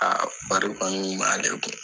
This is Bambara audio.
bari kɔni kun b'ale kun.